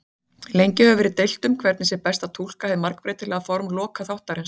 Lengi hefur verið deilt um hvernig sé best að túlka hið margbreytilega form lokaþáttarins.